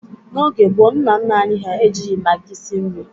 N'oge gboo, nna nna anyị ha ejighi magị si nri.